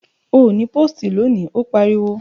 Ò ní pósìtì lónìí, ó pariwo!